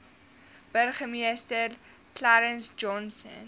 burgemeester clarence johnson